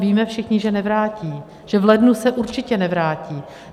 Víme všichni, že nevrátí, že v lednu se určitě nevrátí.